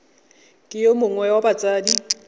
ke yo mongwe wa batsadi